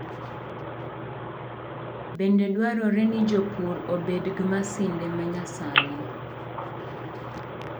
Bende dwarore ni jopur obed gi masinde ma nyasani.